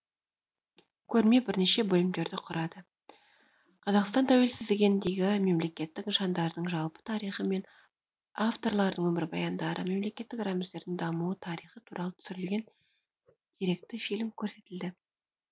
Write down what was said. көрме бірнеше бөлімдерді құрады қазақстан тәуелсіздігіндегі мемлекеттік нышандардың жалпы тарихы мен авторлардың өмірбаяндары мемлекеттік рәміздердің дамуы тарихы туралы түсірілген деректі фильм көрсетілді